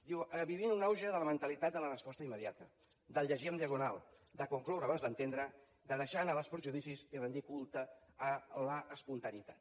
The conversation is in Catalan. diu vivim un auge de la mentalitat de la resposta immediata del llegir en diagonal de concloure abans d’entendre de deixar anar els perjudicis i rendir culte a l’espontaneïtat